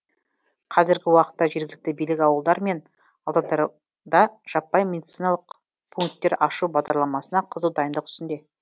қазіргі уақытта жергілікті билік ауылдар мен аудандарда жаппай медциналық пунктер ашу бағдарламасына қызу дайындық үстінде